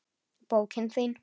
Bókin þín,